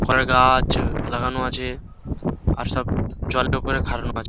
কলা গাছ-ছ লাগানো আছে আর সব জলের উপরে খাড়ানো আছে।